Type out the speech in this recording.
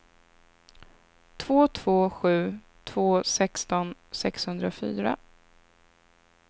två två sju två sexton sexhundrafyra